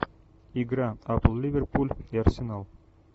игра апл ливерпуль и арсенал